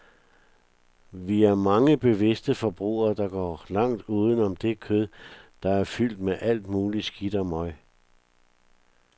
Vi er mange bevidste forbrugere, der går langt uden om det kød, der er fyldt med alt muligt skidt og møg.